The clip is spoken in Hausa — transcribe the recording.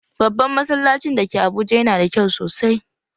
Babban masallacin da ke Abuja yana da kyau sosai